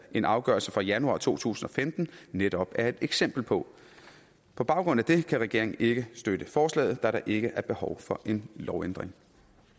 en afgørelse fra januar to tusind og femten netop er et eksempel på på baggrund af det kan regeringen ikke støtte forslaget da der ikke er behov for en lovændring